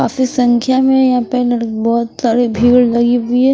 काफी संख्या में यहाँं लड़- पर बहुत सारे भीड़ लगी हुई है।